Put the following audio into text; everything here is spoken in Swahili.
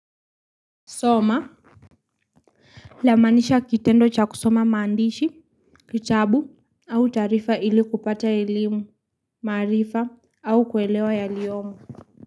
Soma, lamaanisha kitendo cha kusoma maandishi, kitabu, au taarifa ili kupata elimu, maarifa, au kuelewa yaliyomo.